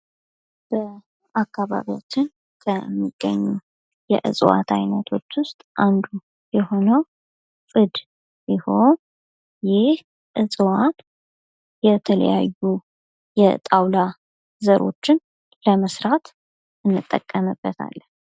በአካባቢያችን ከሚገኙ ከእጽዋት አይነቶች ውስጥ አንዱ የሆኑ ፅድ ሲሆን ይህ እዕዋት የተለያዩ የተለያዩ የጣውላ ዘሮች ለመስራት እንጠቀምበታለን።